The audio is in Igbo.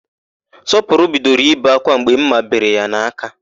Sọpụrụ bidoro ibe ákwá mgbe ḿmà bere ya n'aka.